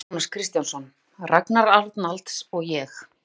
Jónas Kristjánsson, Ragnar Arnalds og ég.